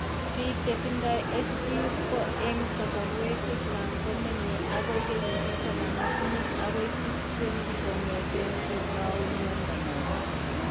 Biik che tindo HD ko eng' kasarwek chechang' ko meny' akoi kenyisiek 15 akoi 20 kong'eteen ko tau mnyando noton.